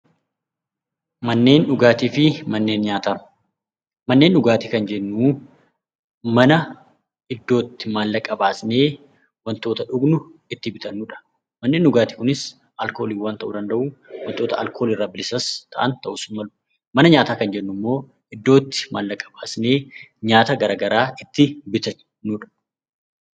Manneen dhugaatii fi manneen nyaataa Manneen dhugaatii kan jennu, mana iddoo itti maallaqa baasnee waantota dhugnu itti bitamudha. Manneen dhugaatii kunis alkooliiwwan ta'uu danda'u, waantota alkoolii irraa bilisaas ta'an, ta'uus malu. Mana nyaata kan jennu immoo iddoo nyaanni itti maallaqa baasnee nyaata garaagaraa bitannudha.